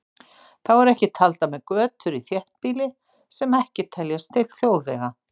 Þá eru ekki taldar með götur í þéttbýli sem ekki teljast til þjóðvega.